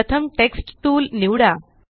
प्रथम text tool निवडा